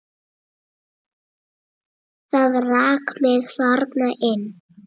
Það rak mig þarna inn.